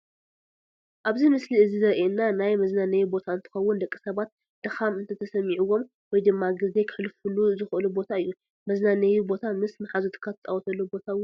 ኣብዚ ምስሊ እዚ ዘሪኤና ናይ መዝናነይ ቦታ እንትኸውን ደቂ ሰባት ድኻም እንተተሰሚዒዎም ወይ ድማ ግዜ ክሕልፍሉ ዝኽእሉ ቦታ እዩ፡፡ መዝናነይ ቦታ ምስ ማሓዙትካ ትፃወተሉ ቦታ እውን እዩ፡፡